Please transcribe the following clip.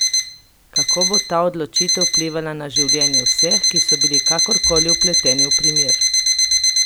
Kako bo ta odločitev vplivala na življenje vseh, ki so bili kakorkoli vpleteni v primer?